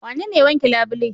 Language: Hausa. Wanene ya wanke labule.